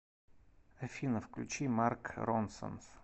афина включи марк ронсон